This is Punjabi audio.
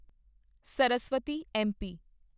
ਸਰਸਵਤੀ ਐਮਪੀ